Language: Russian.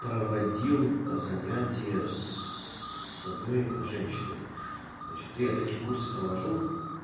проводил занятия с одной женщиной значит я такие курсы провожу